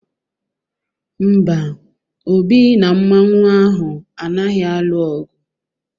Mba, Obi na Mmanwu ahụ anaghị alụ ọgụ.